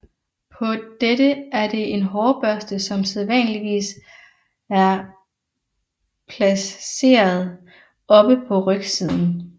På dette er det en hårbørste som sædvanligvis er plasseret oppe på rygsiden